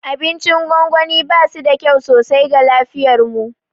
Abincin gwangwani basu da kyau sosai ga lafiyarmu.